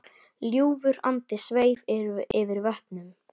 Ljúfur andi sveif yfir vötnum.